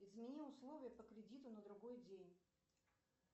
измени условия по кредиту на другой день